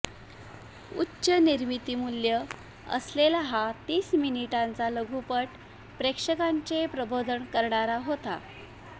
उच्च निर्मितीमूल्यं असलेला हा तीस मिनिटांचा लघुपट प्रेक्षकांचे प्रबोधन करणारा होता